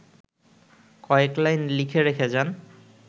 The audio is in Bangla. কয়েক লাইন লিখে রেখে যান